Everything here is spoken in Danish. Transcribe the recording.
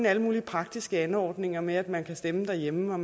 alle mulige praktiske anordninger med at man kan stemme derhjemme og